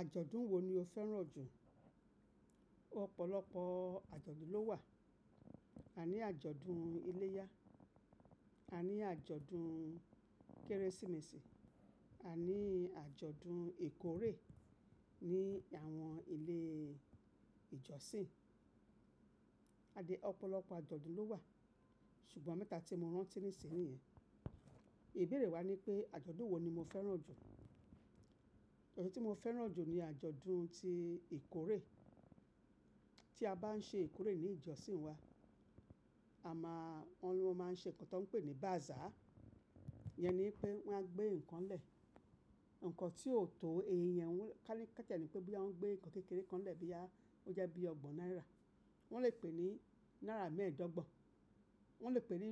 Àjọ̀dún wo ni o fẹ́ràn jù? Òpọ̀lọpọ̀ àjọ̀dún ló wà. A ní àjọ̀dún iléyá, a ní àjọ̀dún Kérésìmesì, àní àjọ̀dún ìkórè ní àwọn ilé ìjọsìn. Adìẹ́ ọ̀pọ̀lọpọ̀ àjọ̀dún ló wà, ṣùgbọ́n mẹ́ta tí mo rántí nísìnyí niyen. Ìbéèrè wa ní pé àjọ̀dún wo ni mo fẹ́ràn jù? Àjọ̀dún tí mo fẹ́ràn jù ni àjọ̀dún tí ìkórè. Tí a bá ń ṣe ìkórè ní ìjọsìn wa, àmá wọ́n máa ń ṣe nǹkan tó ń pè ní bazaar. Iyẹn ni pé wọ́n á gbé nǹkan lẹ̀. Ǹkan tí ó tó èyí yẹn, ká tiẹ́ ní pé bí wọ́n gbé nǹkan kékeré kan lẹ̀ boya oje bí i ọgbọ̀n náírà, wọ́n lè pè é ní náírà mẹ́ẹ̀ẹ́dọ́gbọ̀n, wọ́n lè pè ní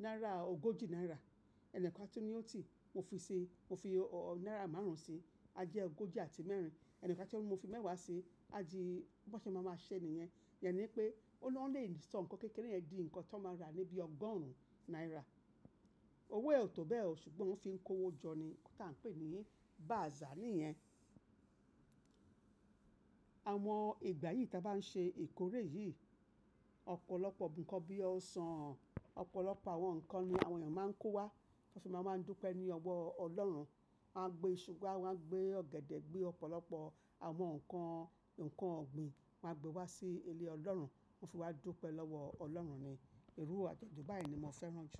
náírà ogójì náírà. Ẹni kan a tun ní òtí, mo fi náírà márùn-ún sí i, á jẹ́ ogójì àti mẹ́rin. Ẹni kan a tun ńi mo fi mẹ́wàá sí i, á di bí won ṣe má máa ṣẹ́ nìyẹn. Iyẹn ni pé ó lè sọ ǹkan kékeré yẹn di ǹkan tó máa ra ní bí ọgorùn náírà. Owó e o tó bẹ́ẹ̀ ò, ṣùgbọ́n wọ́n fi ń kó owó jọ ni, nkan ta ń pè ní bazaar nìyẹn. Àwọn ìgbà yìí tí a bá ń ṣe ìkórè yìí, ọ̀pọ̀lọpọ̀ ǹkan bí i ọsàn, ọ̀pọ̀lọpọ̀ àwọn ǹkan ní àwọn èèyàn máa ń kó wá, wọ́n sì máa ń dúpẹ́ ní ọwọ́ Ọlọ́run. Won a gbé iṣu wá, wọ́n á gbé ọ̀gẹ̀dẹ̀, gbé ọ̀pọ̀lọpọ̀ àwọn ǹkan ọ̀gbìn won a gbé wá sí ilé Ọlọ́run, wọ́n fi wá dúpẹ́ lọ́wọ́ Ọlọ́run ni. Iru àjọ̀dún báyìí ni mo fẹ́ràn jù.